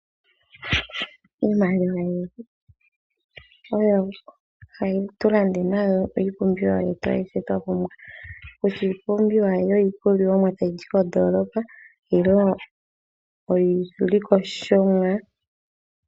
Iimaliwa oyo hatu landa nayo iipumbiwa yetu ayihe twapumbwa kutya iipumbiwa yiikulya tayizi koondoolopa.